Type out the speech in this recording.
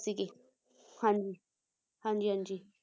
ਸੀਗੇ ਹਾਂਜੀ ਹਾਂਜੀ ਹਾਂਜੀ